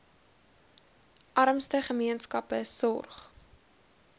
armste gemeenskappe sorg